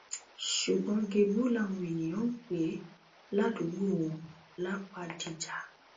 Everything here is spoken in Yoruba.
ṣùgbọn gébú làwọn èèyàn ń pè é ládùúgbò wọn lápadìjà